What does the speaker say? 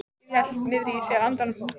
Birkir hélt niðri í sér andanum.